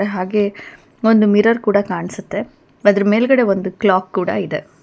ಹಾಗೆ ಒಂದ್ ಮಿರರ್ ಕೂಡ ಕಾಣಸತ್ತೆ ಅದರ ಮೇಲ್ಗಡೆ ಒಂದ ಕ್ಲಾಕ್ ಕೂಡ ಇದೆ.